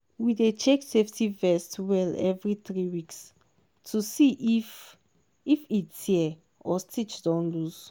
we dey check safety vest well every three weeks to see if if e tear or stitch don loose.